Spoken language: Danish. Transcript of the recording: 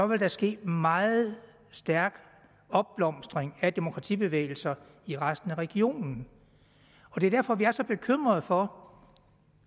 vil der ske en meget stærk opblomstring af demokratibevægelser i resten af regionen og det er derfor vi er så bekymrede for